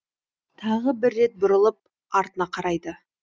тағы бір рет бұрылып артына қарайды